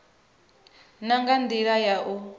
na nga ndila ya u